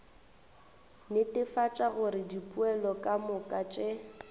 netefatša gore dipoelo kamoka tše